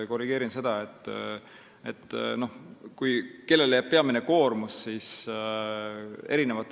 Ma korrigeerin seda, kellele jääb peamine koormus.